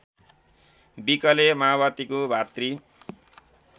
विकले माओवादीको भातृ